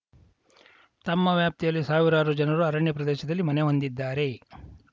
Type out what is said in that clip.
ತಮ್ಮ ವ್ಯಾಪ್ತಿಯಲ್ಲಿ ಸಾವಿರಾರು ಜನರು ಅರಣ್ಯ ಪ್ರದೇಶದಲ್ಲಿ ಮನೆ ಹೊಂದಿದ್ದಾರೆ